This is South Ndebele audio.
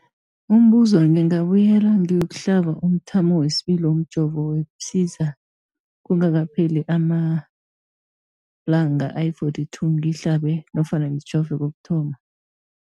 Umbuzo, ngingabuyela ngiyokuhlaba umthamo wesibili womjovo we-Pfizer kungakapheli ama-42 wamalanga ngihlabe nofana ngijove kokuthoma.